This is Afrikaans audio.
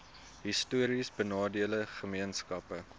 histories benadeelde gemeenskappe